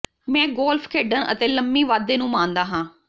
ਮੈਂ ਗੋਲਫ ਖੇਡਣ ਅਤੇ ਲੰਮੀ ਵਾਧੇ ਨੂੰ ਮਾਣਦਾ ਹਾਂ